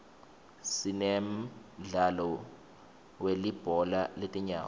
sinemdlalo wilibhola letinyawo